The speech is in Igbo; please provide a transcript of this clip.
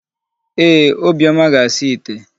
Ee, Obiọma ga-asa ite.